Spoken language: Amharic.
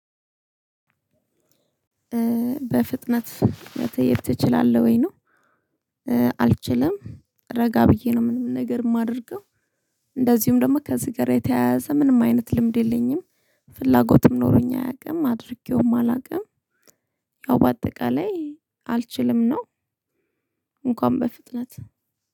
በፍጥነት መተየብ ትችላለህ ወይ ነው? አልችልም ረጋ ብዬ ነው ምንም ነገር የማደርገው። እንደዚሁም ደግሞ ከዚህ ጋር የተያያዘ ምንም አይነት ልምድ የለኝም። ፍላጎትም ኖሮኝ አያውቅም አድርጌውም አላውቅም። ያው በአጠቃላይ አልችልም ነው። እንኳን በፍጥነት